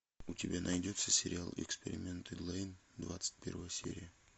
у тебя найдется сериал эксперименты лэйн двадцать первая серия